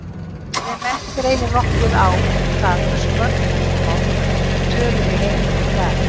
Fræðimenn greinir nokkuð á um það hversu mörg tungumál eru töluð í heiminum í dag.